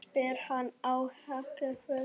spyr hann ákafur.